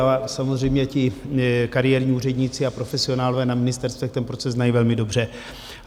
A samozřejmě ti kariérní úředníci a profesionálové na ministerstvech ten proces znají velmi dobře.